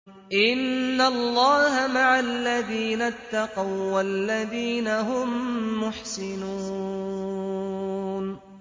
إِنَّ اللَّهَ مَعَ الَّذِينَ اتَّقَوا وَّالَّذِينَ هُم مُّحْسِنُونَ